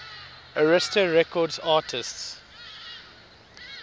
arista records artists